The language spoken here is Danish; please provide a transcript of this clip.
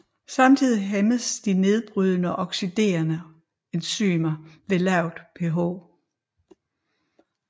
Samtidig hæmmes de nedbrydende og oxiderende enzymer ved lavt pH